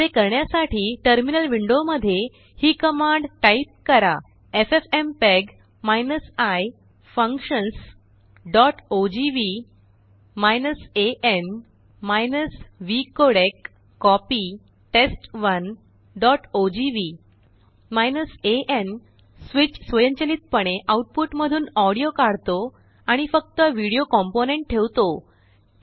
असे करण्यासाठीटर्मिनल विंडो मध्ये हिकमांड टाइप करा एफएफएमपीईजी i functionsओजीव्ही an vcodec कॉपी test1ओजीव्ही an स्विच स्वयंचलितपणेआउटपुट मधूनऑडियो काढतो आणि फक्तविडियो कॉम्पोनेन्ट ठेवतो